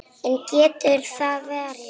En getur það varist?